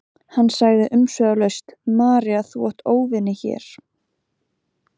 Hann sagði umsvifalaust: María þú átt óvini hér.